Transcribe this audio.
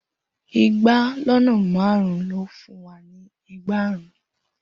igba lọnà márún lo fún wa ni ẹẹgbarun.